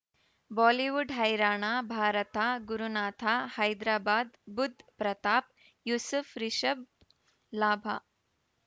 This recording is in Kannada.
ಬಾಲಿವುಡ್ ಹೈರಾಣ ಭಾರತ ಗುರುನಾಥ ಹೈದರಾಬಾದ್ ಬುಧ್ ಪ್ರತಾಪ್ ಯೂಸುಫ್ ರಿಷಬ್ ಲಾಭ